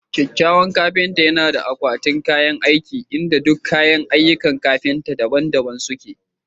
kyakkyawan kafinta yana da akwatin kayan aiki inda duk kayan aikin kafinta daban-daban suke